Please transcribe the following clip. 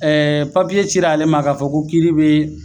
Ɛɛ papiye cir'ale ma k'a fɔ ko kiiri be